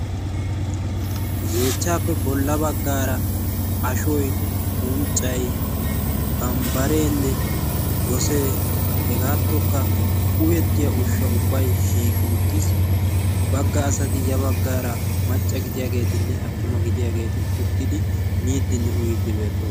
yeechchaappe bolla baggaara ashoi unccai bambbareenne gosee hegaattokka uyettiya ushsha ubbai shiiqi uttiis bagga asati ya baggaara macca gidiyaageetinne attuma gidiyaageeti uttidi miiddinne uyiiddi beatto